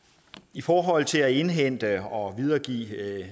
i forhold til at indhente og videregive